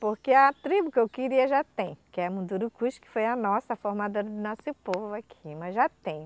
Porque a tribo que eu queria já tem, que é Mundurucus, que foi a nossa, formadora do nosso povo aqui, mas já tem.